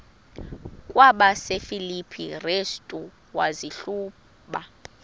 kwabasefilipi restu wazihluba